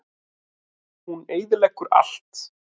Hún eyðileggur allt.